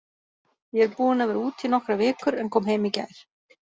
Ég er búinn að vera úti í nokkrar vikur en kom heim í gær.